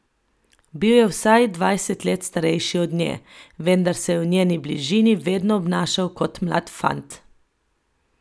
Bil je vsaj dvajset let starejši od nje, vendar se je v njeni bližini vedno obnašal kot mlad fant.